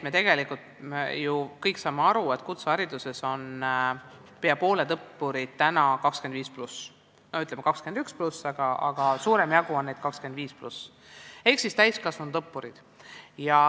Me tegelikult kõik saame aru, et kutsehariduses on peaaegu pooled õppurid täna 25+ või 21+, aga suurem jagu neist on 25+ ehk täiskasvanud õppurid.